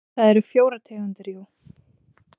Það eru fjórar tegundir jú.